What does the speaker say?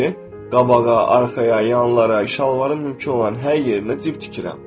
Çünki qabağa, arxaya, yanlara, şalvarın mümkün olan hər yerinə cib tikirəm.